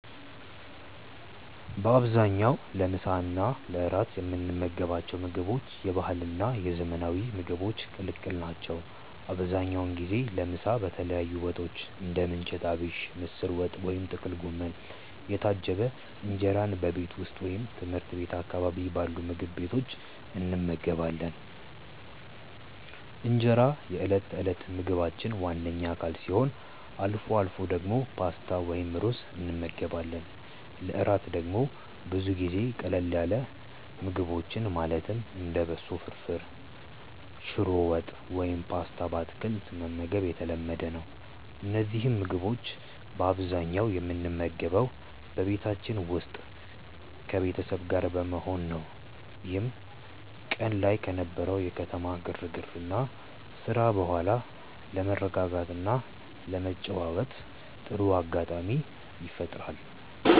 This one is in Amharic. በአብዛኛው ለምሳ እና ለእራት የምንመገባቸው ምግቦች የባህልና የዘመናዊ ምግቦች ቅልቅል ናቸው። አብዛኛውን ጊዜ ለምሳ በተለያዩ ወጦች (እንደ ምንቸት አቢሽ፣ ምስር ወጥ ወይም ጥቅል ጎመን) የታጀበ እንጀራን በቤት ውስጥ ወይም ትምህርት ቤት አካባቢ ባሉ ምግብ ቤቶች እንመገባለን። እንጀራ የዕለት ተዕለት ምግባችን ዋነኛ አካል ሲሆን፣ አልፎ አልፎ ደግሞ ፓስታ ወይም ሩዝ እንመገባለን። ለእራት ደግሞ ብዙ ጊዜ ቀለል ያሉ ምግቦችን ማለትም እንደ በሶ ፍርፍር፣ ሽሮ ወጥ ወይም ፓስታ በአትክልት መመገብ የተለመደ ነው። እነዚህን ምግቦች በአብዛኛው የምንመገበው በቤታችን ውስጥ ከቤተሰብ ጋር በመሆን ነው፤ ይህም ቀን ላይ ከነበረው የከተማ ግርግርና ስራ በኋላ ለመረጋጋትና ለመጨዋወት ጥሩ አጋጣሚ ይፈጥራል።